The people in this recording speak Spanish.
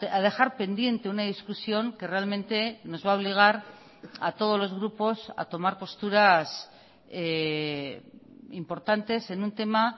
a dejar pendiente una discusión que realmente nos va a obligar a todos los grupos a tomar posturas importantes en un tema